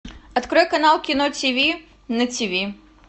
открой канал кино тв на тв